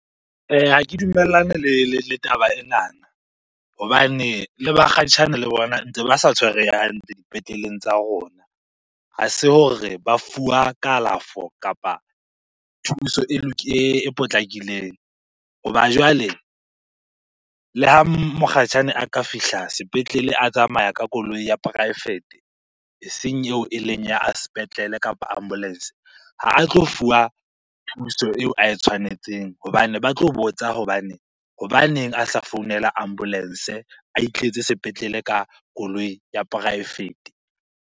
Ha ke dumellane le taba enana hobane le bakgatjhane le bona ntse ba sa tshwareha hantle dipetleleng tsa rona. Ha se hore ba fuwa kalafo kapa thuso e e potlakileng. Hoba jwale le ha mokgatjhane a ka fihla sepetlele a tsamaya ka koloi ya poraefete, eseng eo eleng ya sepetlele kapa ambulance. Ha a tlo fuwa thuso eo ae tshwanetseng hobane ba tlo botsa hobane, hobaneng a sa founela ambulance a itletse sepetlele ka koloi ya poraefete?